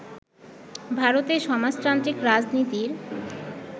ভারতে সমাজতান্ত্রিক রাজনীতির